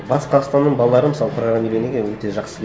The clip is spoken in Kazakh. батыс қазақстанның балалары мысалы программированиеге өте жақсы